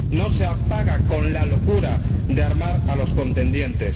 No se apaga con la locura de armar a los contendientes.